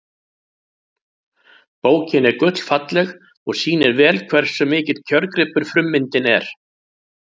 Bókin er gullfalleg og sýnir vel hversu mikill kjörgripur frummyndin er.